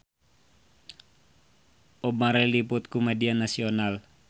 Bob Marley diliput ku media nasional